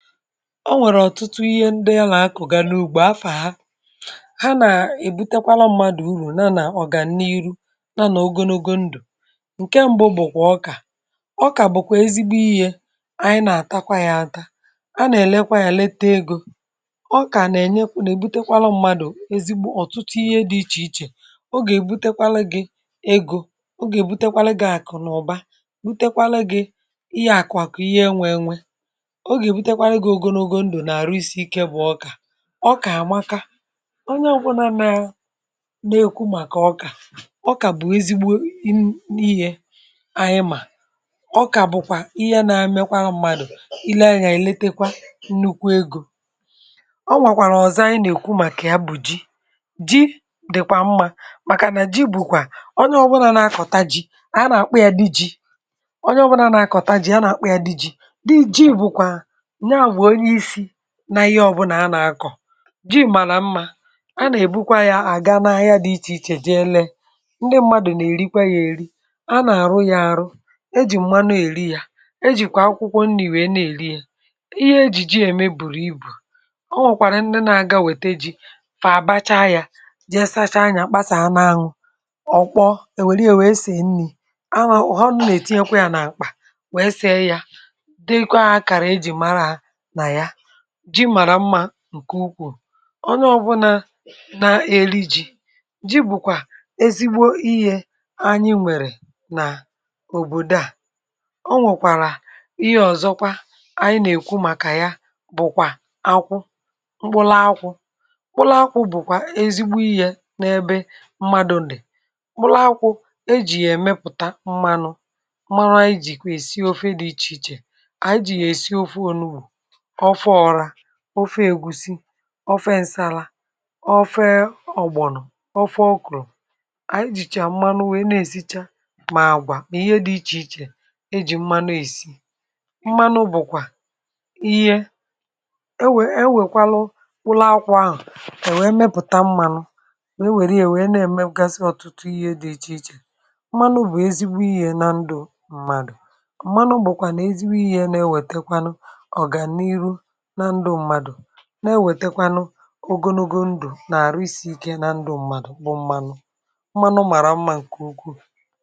um Ọ̀nwèrè ọtụtụ ihe ndị a na-akụ na n’ụgbọ afà ha, ha na-ebutekwala mmadụ uru, um n’ihi na ọ ga-enyere mmadụ iru ogonogo ndụ. Ihe mbụ bụkwa ọka. Ọka bụ ezigbo ihe anyị na-ata kwa ụbọchị. um A na-elekwa ya anya nke ọma ègo ọka na-enye ezigbo uru. um Ọka na-ebute mmadụ ọtụtụ ihe dị iche iche ọ na-ewetara gị ego, um ọ na-ewetara gị akụ na ọba, na ihe akụ-akụ, ihe enywe-enywe. Ọka anwukwa onye ọ bụla na-ekwu maka ya. Ọka bụ ezigbo ihe n’ịhè anyị. Ma ọ bụkwa ihe a um na-amị nke na-enyere mmadụ aka. Le anya, elee nnukwu ego ọ na-eweta. Ọ nwekwara nke ọzọ um anyị na-ekwu maka ji. Ji dịkwa mma, um n’ihi na ji bụ ihe onye ọbụla na-akọ. A na-akpụ ya, a na-eri ya, onye ọbụla na-akọ ji, a na-akpụkwa ya dị mma. um Ji abụghị naanị ihe a na-akọ, kama ọ bụkwa ihe na-ewetara mmadụ akụ na ụba. Jee hụ ndị mmadụ n’ahịa ha na-eri ya, um a na-arụkwa ya n’ụzọ dị iche iche. E jiri mmanụ eri ya,e jiri akwụkwọ nri were rie ya, ma ọ bụ jiri ihe eji eme bùrù ibu. um Ndị na-aga wetere ji na-fàbàchaa ya, gaa sachaa ya, kpasaa, ma ọ bụ kpọọ, were ya wee sie nri. A na-ụhọ, tinye ya n’akpa, wee see ya, bụrụ akara eji mara ji mara mma nke ukwu! Onye ọbụna na-eli ji maara um na ji bụ ezigbo ihe anyị nwere n’obodo anyị. Ọ nwekwara ihe ọzọ anyị na-ekwu maka akwụ mkpụrụ. Akwụ bụ ezigbo ihe n’ebe mmadụ nọ. N’ime mkpụrụ akwụ, a na-emeputa mmanụ. um E jiri ya esi ofe dị iche iche ofe egusi, ofe nsala, ofe ọgbọ̀nụ̀, ofe okrò. Anyị ji mmanụ ahụ esi ọtụtụ ihe, mmanụ bụkwa ihe e ji mara nri. E wepụtara ya n’ụlọ akwụ, wee mepụta mmanụ, nke na-ewetara mmadụ um ọtụtụ uru. Mmanụ bụ ezigbo ihe na ndụ mmadụ. Mmanụ bụkwa nke na-ewetekwa ogonogo ndụ, ma na-enye mmadụ ike, n’ihi na ndụ mmadụ bụ mmanụ.